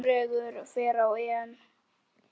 Noregur fer á EM.